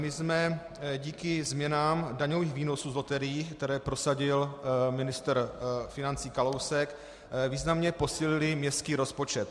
My jsme díky změnám daňových výnosů z loterií, které prosadil ministr financí Kalousek, významně posílili městský rozpočet.